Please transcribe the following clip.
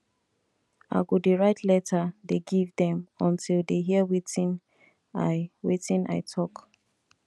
i go dey write letter dey give dem until dey hear wetin i wetin i talk